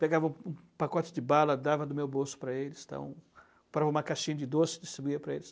Pegava o o pacote de bala, dava do meu bolso para eles, então, para uma caixinha de doce, distribuía para eles.